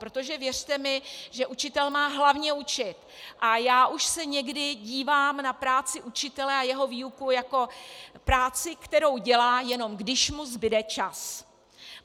Protože, věřte mi, že učitel má hlavně učit a já už se někdy dívám na práci učitele a jeho výuku jako práci, kterou dělá, jenom když mu zbude čas.